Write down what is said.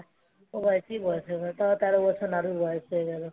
ও বাড়িতে বয়স হয়ে গেল তেরো বছর নাড়ুর বয়স হয়ে গেল